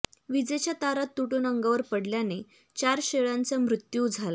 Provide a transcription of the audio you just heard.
विजेच्या तारा तुटून अंगावर पडल्याने चार शेळ्यांचा मृत्यू झाला